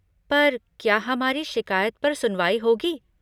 पर क्या हमारी शिकायत पर सुनवाई होगी?